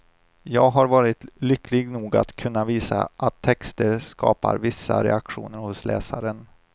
Jag har varit lycklig nog att kunna visa att texter skapar vissa reaktioner hos läsaren.